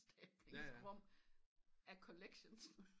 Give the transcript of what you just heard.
Stablings rum af collections